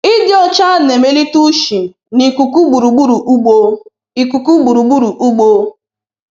Ịdị ọcha na-emelite ushi na ikuku gburugburu ugbo. ikuku gburugburu ugbo.